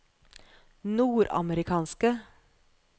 nordamerikanske